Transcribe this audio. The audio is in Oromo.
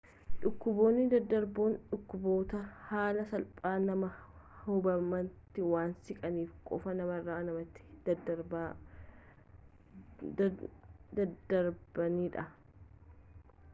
dhukkuboonni daddarboon dhukkuboota haala salphaan nama hubametti waan siqaniif qofa namarra namatti dadddarbanidha